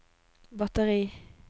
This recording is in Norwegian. batteri